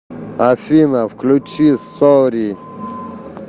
афина включи сори